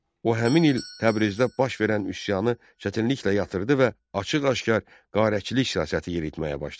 O həmin il Təbrizdə baş verən üsyanı çətinliklə yatırtdı və açıq-aşkar qarətçilik siyasəti yeritməyə başladı.